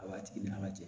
A b'a tigi ni ka jɛ